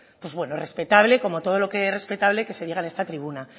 pues bueno respetable como todo lo que es respetable que se diga en esta tribuna